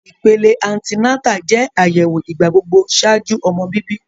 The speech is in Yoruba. Ipele anti-nata jẹ ayẹwo igbagbogbo ṣaaju ọmọ bibi.